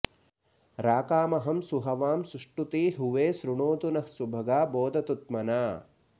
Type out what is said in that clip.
राकामहं सुहवां सुष्टुती हुवे शृणोतु नः सुभगा बोधतु त्मना